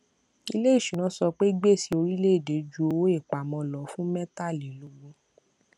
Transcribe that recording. iléìṣúná sọ pé gbèsè orílẹèdè ju owó ìpamọ lọ fún mẹtàlélógún